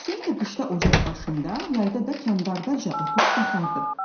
Hüseyn də qışda ocaq başında, yayda da kandarda oturub baxardı.